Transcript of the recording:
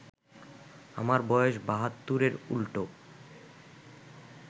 আমার বয়স ৭২-এর উল্টো